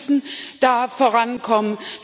Wir müssen da vorankommen.